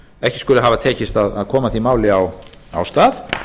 ekki skuli hafa tekist að koma því máli af stað